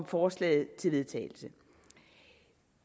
forslaget til vedtagelse